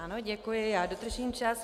Ano, děkuji, já dodržím čas.